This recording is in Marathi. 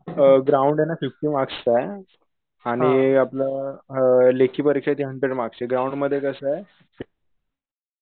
अअ ग्राउंड ये ना फिफ्टी मार्कस चा ये आणि आपलं लेखी परिक्षये ती हंड्रेड मार्क्सची ग्राउंड मध्ये कसंय